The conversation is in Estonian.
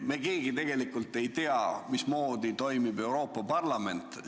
Me keegi tegelikult ei tea, mismoodi toimib Euroopa Parlament.